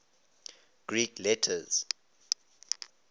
greek letters